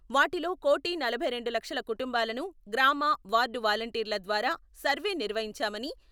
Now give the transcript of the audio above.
వాటిలో కోటి నలభై రెండు లక్షల కుటుంబాలను గ్రామ, వార్డు వాలంటీర్ల ద్వారా సర్వే నిర్వహించామని...